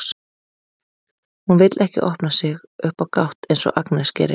Hún vill ekki opna sig upp á gátt eins og Agnes gerir.